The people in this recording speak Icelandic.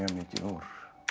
mikið úr